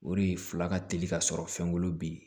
O de ye fila ka teli ka sɔrɔ fɛnko bɛ yen